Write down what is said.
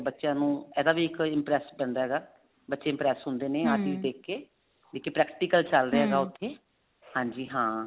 ਬੱਚਿਆਂ ਨੂੰ ਇਹਦਾ ਵੀ ਇੱਕ impress ਪੈਂਦਾ ਹੈਗਾ ਬੱਚੇ impress ਹੁੰਦੇ ਨੇ ਆਹ ਚੀਜ਼ ਦੇਖ ਕੇ ਵੀ ਇੱਕ practical ਉੱਥੇ ਹਾਂਜੀ ਹਾਂ